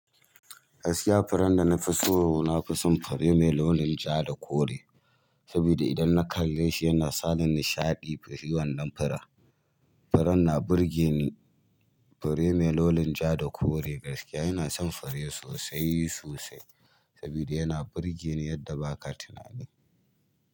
Gaskiya furen da nafiso, nafison fure me launin ja da kore, saboda idan na kalle shi yana sani nishaɗi. Shi wannan fure, furen na burge ni. Fure me launin ja da kore gaskiya ina son fure sosai sosai saboda yana burge ni yadda ba ka tunani.